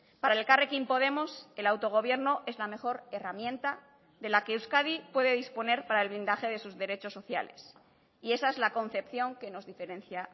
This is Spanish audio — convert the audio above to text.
para elkarrekin podemos el autogobierno es la mejor herramienta de la que euskadi puede disponer para el blindaje de sus derechos sociales y esa es la concepción que nos diferencia